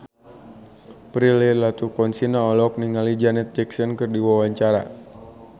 Prilly Latuconsina olohok ningali Janet Jackson keur diwawancara